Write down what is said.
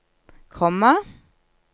komma